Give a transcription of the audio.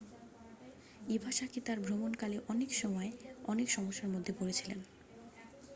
Iwasaki তাঁর ভ্রমণকালে অনেক সময় অনেক সমস্যার মধ্যে পড়েছিলেন